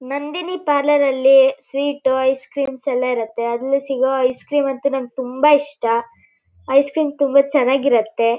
Nandini parlour ಅಲ್ಲಿ sweet ice creams ಎಲ್ಲಾ ಇರುತ್ತೆ. ಅಲ್ಲಿ ಸಿಗುವ ಐಸ್ ಕ್ರೀಮ್ ಅಂತೂ ನನಗೆ ತುಂಬಾ ಇಷ್ಟ ಐಸ್ ಕ್ರೀಮ್ ತುಂಬಾ ಚೆನ್ನಾಗಿರುತ್ತೆ.